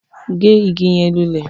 Gé ìgi yẹn lulẹ!